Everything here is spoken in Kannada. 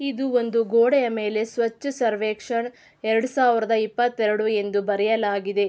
ಇದು ಒಂದು ಗೋಡೆಯಮೇಲೆ ಸ್ವಚ್ಛ ಸರ್ವೇಕ್ಷಣ ಎರಡ ಸಾವಿರದ ಇಪ್ಪತ್ ಎರಡು ಎಂದು ಬರೆಯಲಾಗಿದೆ.